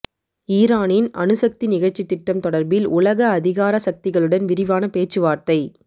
ஈரானின் அணுசக்தி நிகழ்ச்சித்திட்டம் தொடர்பில் உலக அதிகார சக்திகளுடன் விரிவான பேச்சுவார்த்தை